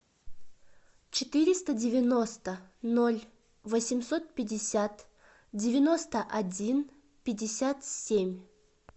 четыреста девяносто ноль восемьсот пятьдесят девяносто один пятьдесят семь